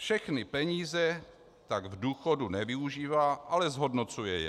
Všechny peníze tak k důchodu nevyužívá, ale zhodnocuje je.